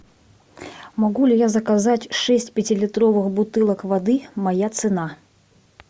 могу ли я заказать шесть пятилитровых бутылок воды моя цена